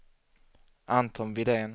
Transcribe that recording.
Anton Widén